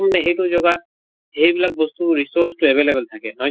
সেইটো জগাত সেইবিলাক বস্তু resource টো available থাকে নহয়